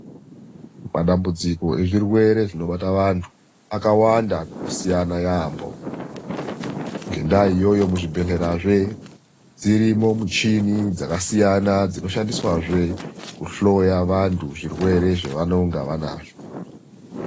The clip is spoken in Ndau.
Matambudziko ezvirwere zvinobata wantu akawanda nokusiyana yaamho. Ngendaa iyoyozve muzvibhedhlera dzirimo michini dzakasiyana dzinoshandiswazve kuhloya vantu zvirwere zvavanenge vanazvo.